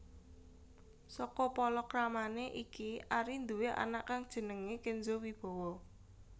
Saka palakramané iki Ari nduwé anak kang jenengé Kenzo Wibowo